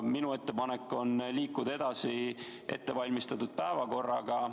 Minu ettepanek on liikuda edasi ettevalmistatud päevakorraga.